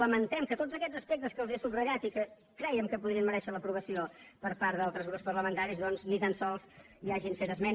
lamentem que de tots aquests aspectes que els he subratllat i que crèiem que podrien merèixer l’aprovació per part d’altres grups parlamentaris doncs ni tan sols hi hagin fet esment